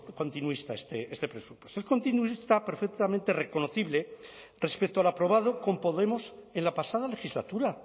continuista este presupuesto es continuista perfectamente reconocible respecto al aprobado con podemos en la pasada legislatura